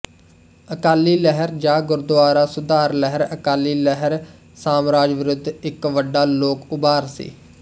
ਅਕਾਲੀ ਲਹਿਰ ਜਾਂ ਗੁਰਦੁਆਰਾ ਸੁਧਾਰ ਲਹਿਰ ਅਕਾਲੀ ਲਹਿਰ ਸਾਮਰਾਜ ਵਿਰੁੱਧ ਇੱਕ ਵੱਡਾ ਲੋਕ ਉਭਾਰ ਸੀ